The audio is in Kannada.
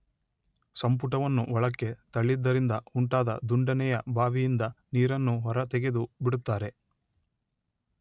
ಸಂಪುಟವನ್ನು ಒಳಕ್ಕೆ ತಳ್ಳಿದ್ದರಿಂದ ಉಂಟಾದ ದುಂಡನೆಯ ಬಾವಿಯಿಂದ ನೀರನ್ನು ಹೊರತೆಗೆದು ಬಿಡುತ್ತಾರೆ